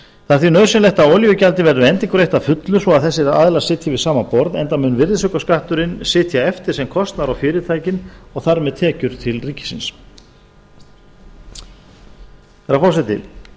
það er því nauðsynlegt er að olíugjaldið verði endurgreitt að fullu svo að þessir aðilar sitji við sama borð enda mun virðisaukaskatturinn sitja eftir sem kostnaður á fyrirtækin og þar með sem tekjur til ríkisins herra forseti